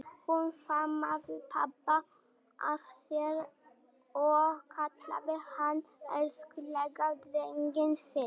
Hún faðmaði pabba að sér og kallaði hann elskulega drenginn sinn.